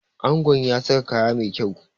Angon ya sa kaya mai kyau